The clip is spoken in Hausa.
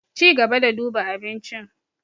Cigaba da duba abincin.